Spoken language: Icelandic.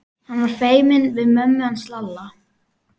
Hann var feiminn við mömmu hans Lalla.